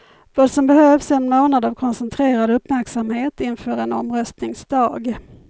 Vad som behövs är en månad av koncentrerad uppmärksamhet inför en omröstningsdag.